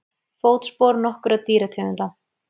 Fótspor nokkurra dýrategunda.